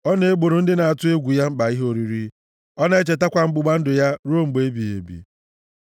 Ọ na-egboro ndị na-atụ egwu ya mkpa ihe oriri; ọ na-echetakwa ọgbụgba ndụ ya ruo mgbe ebighị ebi.